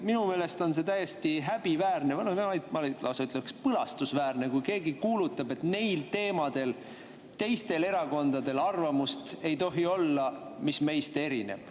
Minu meelest on see täiesti häbiväärne, ma lausa ütleks, et põlastusväärne, kui keegi kuulutab, et neil teemadel ei tohi teistel erakondadel olla arvamust, mis tema omast erineb.